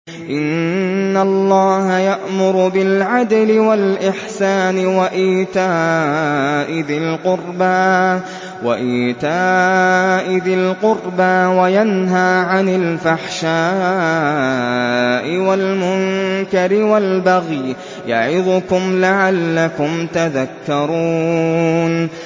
۞ إِنَّ اللَّهَ يَأْمُرُ بِالْعَدْلِ وَالْإِحْسَانِ وَإِيتَاءِ ذِي الْقُرْبَىٰ وَيَنْهَىٰ عَنِ الْفَحْشَاءِ وَالْمُنكَرِ وَالْبَغْيِ ۚ يَعِظُكُمْ لَعَلَّكُمْ تَذَكَّرُونَ